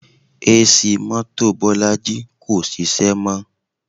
AC mọ́tò Bolaji kò ṣiṣẹ́ mọ́